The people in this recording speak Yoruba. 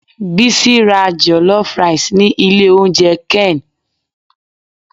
Bisi ra jollof rice ni ilé oúnjẹ ken.